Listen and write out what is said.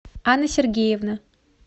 анна сергеевна